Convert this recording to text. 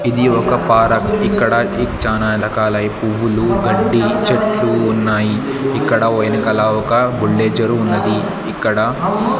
ఇది ఒక పారక్ ఇక్కడ ఇ చానా రకాలై పువ్వులు గడ్డి చెట్లు ఉన్నాయి ఇక్కడ ఒ ఎనకల ఒక గుండె చెరువు ఉన్నది ఇక్కడ--